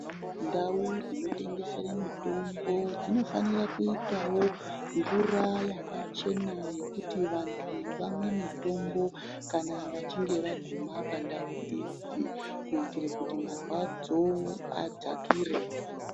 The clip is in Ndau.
Ndau dzinotese mitombo dzinofanira kuitawo mvura yakachena yekuti vantu vamwe mutombo kana vachinge vaguma pandu iyi kuitira kuti marwadzo adzakire.